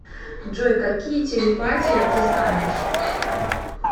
джой какие телепатия ты знаешь